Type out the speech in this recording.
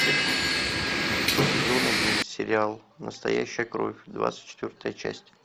сезон один сериал настоящая кровь двадцать четвертая часть